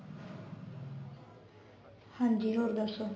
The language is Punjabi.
ਹਾਂਜੀ ਹੋਰ ਦੱਸੋ